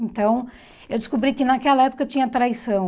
Então, eu descobri que naquela época tinha traição.